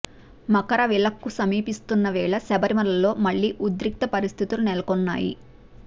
మకర విలక్కు సమీపిస్తున్న వేళ శబరిమలలో మళ్లీ ఉద్రిక్త పరిస్థితులు నెలకొన్నాయి